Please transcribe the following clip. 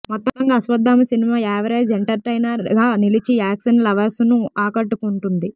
మొత్తంగా Ashwathama cinema average entertainer గా నిలిచి యాక్షన్ లవర్స్ ను ఆకట్టుకుంటుంది